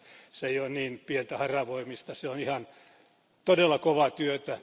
Se ei ole niin pientä haravoimista, se on ihan todella kovaa työtä.